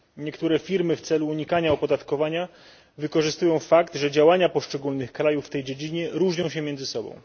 Niektóre firmy w celu unikania opodatkowania wykorzystują fakt, że działania poszczególnych krajów w tej dziedzinie różnią się między sobą.